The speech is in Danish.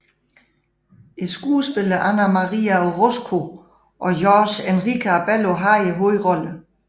Skuespillerne Ana María Orozco og Jorge Enrique Abello havde hovedrollerne